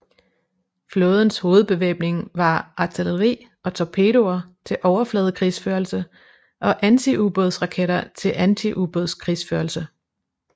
Flådens hovedbevæbning var artilleri og torpedoer til overfladekrigsførelse og antiubådsraketter til antiubådskrigsførelse